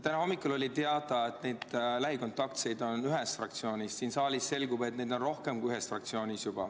Täna hommikul oli teada, et lähikontaktseid on ühes fraktsioonis, aga siin saalis selgub, et neid on juba rohkem kui ühes fraktsioonis.